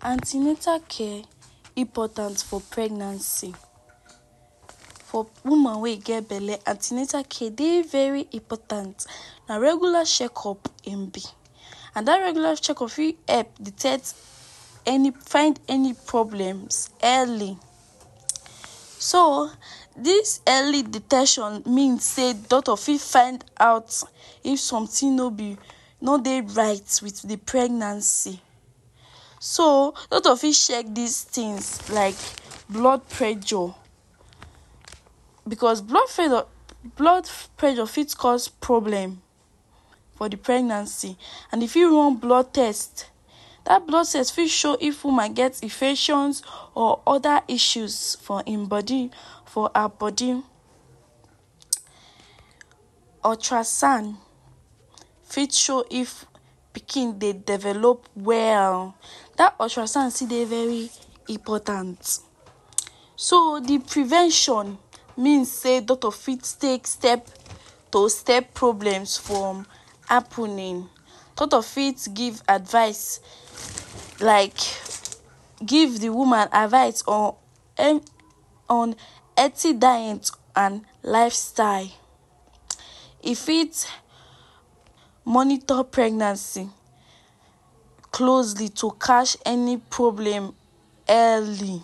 An ten atal care important for pregnancy. For woman wey im get belle an ten atal care de very important, na regular checkup im be. And dat regular checkup fit help detect any, find any problems early. So dis early detection mean sey doctor fit find out if something no be no dey right wit de pregnancy. So doctor fit check these things like blood pressure because blood blood pressure fit cause problem for de pregnancy. And e fit run blood test. Dat blood test fit show if woman get infections or other issues for im body for her body. Ultra scan fit show if pikin dey develop well, dat ultra scan still dey very important. So de prevention mean sey doctor fit take step to step problems from happening. Doctor fit give advice like give de woman advice on on healthy diet and lifestyle. E fit monitor pregnancy closely to catch any problem early.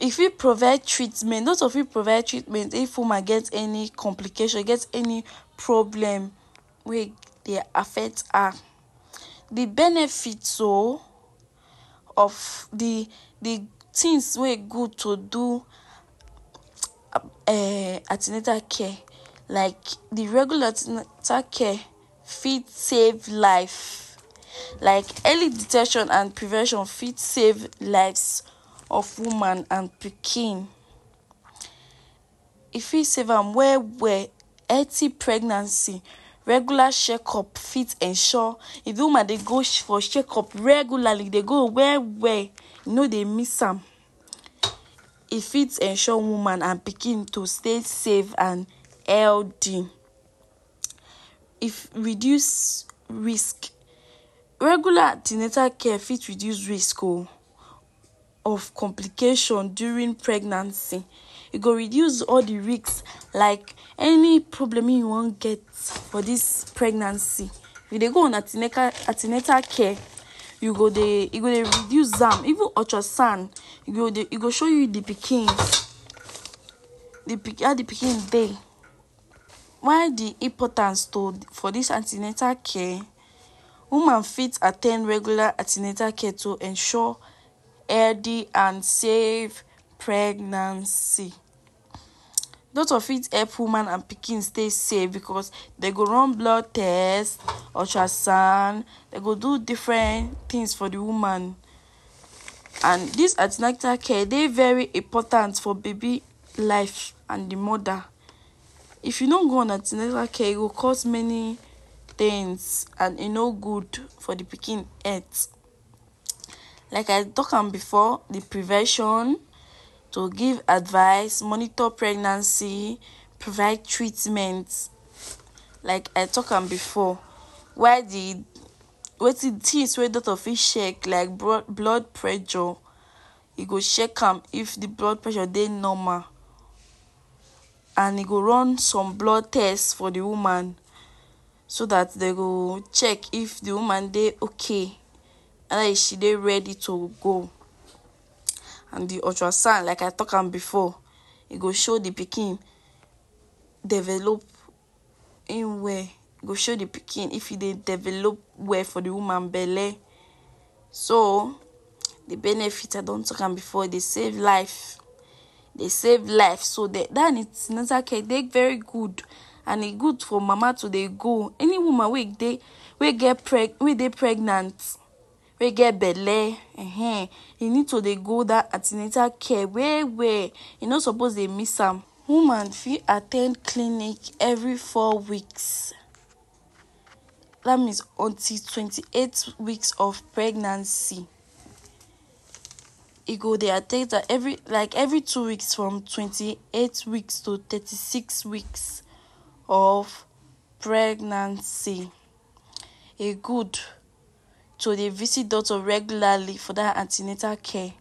E fit provide treatment, doctor fit provide treatment if woman get any complication, get any problem wey e dey affect her. De benefit so of de de things wey e good to do um an ten atal care like de regular an ten atal care fit save life like early detection and prevention fit save lives of woman and pikin. E fit save am well well. Healthy pregnancy, regular checkup fit ensure if de woman dey go. for checkup regularly, e dey go well well, e no dey miss am. E fit ensure woman and her pikin to stay safe and healthy. E reduce risk; regular an ten atal care fit reduce risk oo of complication during pregnancy. E go reduce all de risk like any problem wey e wan get for dis pregnancy you dey go una an ten atal an ten atal care you go dey you go dey reduce am. Even ultra scan, e go dey e go show you de pikin de pikin how de pikin dey. Why de importance to for dis an ten atal care? Woman fit at ten d regular an ten atal care to ensure healthy and safe pregnancy. Doctor fit help woman and pikin stay safe because dey go run blood test, ultra scan, dey go do different things for de woman. And dis an ten atal care dey very important for baby life and de mother. If you no go on an ten atal care, e go cause many things and e no good for de pikin health. Like I talk am before, de prevention, to give advice, monitor pregnancy, provide treatment like I talk am before. While de wetin things wey doctor fit check like blood pressure. E go check am if de blood pressure dey normal and e go run some blood test for de woman. So dat dey go check if de woman dey okay, she dey ready to go. And de ultra scan like I talk am before e go show de pikin developing well, e go show de pikin if e dey develop well for de woman belle. So de benefit I don talk am before. E dey save life, e dey save lives so dat an ten atal care dey very good and e good for mama to dey go. Any woman wey dey wey get wey dey pregnant wey get belle um e need to dey go dat an ten atal care well well. E no suppose dey miss am. Woman fit at ten d clinic every four weeks. Dat means until twenty-eight weeks of pregnancy, e go dey at ten d am every like every two weeks from twenty-eight weeks to thirty-six weeks of pregnancy. E good to dey visit doctor regularly for dat an ten atal care.